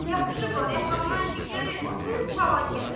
Yapışıblar yaxamdan ki, gərək oxuyub çalan gələ.